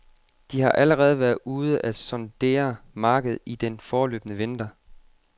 De har allerede været ude at sondere markedet i den forløbne vinter.